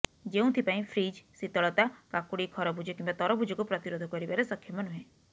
ଯେଉଁଥିପାଇଁ ଫ୍ରିଜ ଶୀତଳତା କାକୁଡି ଖରଭୁଜ କିମ୍ବା ତରଭୁଜକୁ ପ୍ରତିରୋଧ କରିବାରେ ସକ୍ଷମ ନୁହେଁ